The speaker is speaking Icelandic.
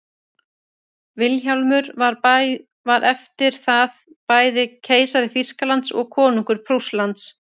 vilhjálmur var eftir það bæði keisari þýskalands og konungur prússlands